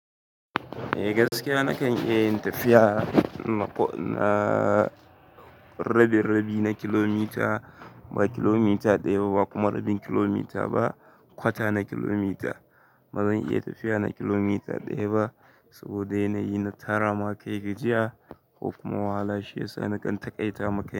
Eh gaskiya nakan iya yin tafiya na rabi rabi na kilomita, ba kilomita ɗaya ba kuma rabin kilomita ba, kwata na kilomita. Bazan iya tafiya na kilomita ɗaya ba saboda yanayi na tara makai gajiya ko kuma wahala shi ya sa nakan taƙaita makai.